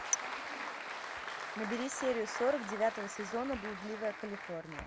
набери серию сорок девятого сезона блудливая калифорния